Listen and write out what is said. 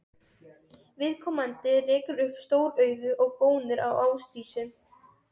Viðkomandi rekur upp stór augu og gónir á Ásdísi.